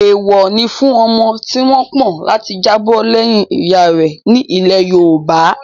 Èèwọ̀ ni fún ọmọ tí wọ́n pọ̀n láti jábọ̀ lẹ́yìn ìyá rẹ̀ ní ilẹ̀ yoòbá